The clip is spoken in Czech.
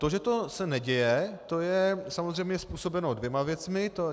To, že se to neděje, to je samozřejmě způsobeno dvěma věcmi.